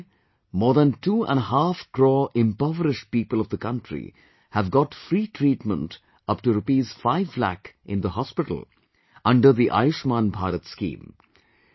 Today, more than two and a half crore impoverished people of the country have got free treatment up to Rs 5 lakh in the hospital under the Ayushman Bharat scheme